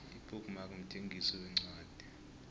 ibook mark mthengisi wencwadi